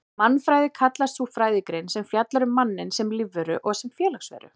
Mannfræði kallast sú fræðigrein sem fjallar um manninn sem lífveru og sem félagsveru.